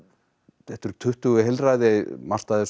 þetta eru tuttugu heilræði margt af þessu